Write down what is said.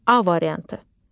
A variantı.